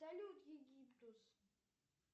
салют египтус